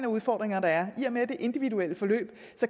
udfordringer der er i og med at det er individuelle forløb